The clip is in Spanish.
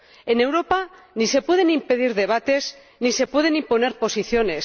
En Europa ni se pueden impedir debates, ni se pueden imponer posiciones.